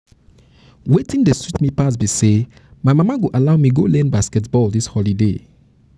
wetin dey sweet me pass be say my mama go allow me go learn basket ball for dis holiday